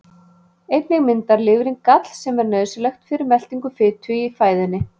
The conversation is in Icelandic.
Einnig myndar lifrin gall sem er nauðsynlegt fyrir meltingu fitu í fæðunni.